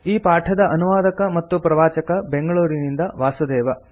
ಈ ಪಾಠದ ಅನುವಾದಕ ಮತ್ತು ಪ್ರವಾಚಕ ಬೆಂಗಳೂರಿನಿಂದ ವಾಸುದೇವ